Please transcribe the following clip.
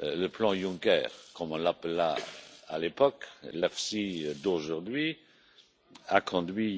le plan Juncker comme on l'appela à l'époque l'EFSI d'aujourd'hui, a conduit